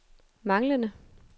manglende